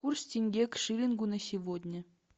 курс тенге к шиллингу на сегодня